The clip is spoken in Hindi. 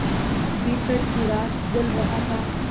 भीतर चिराग जल रहा था